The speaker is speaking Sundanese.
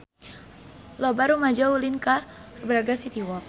Loba rumaja ulin ka Braga City Walk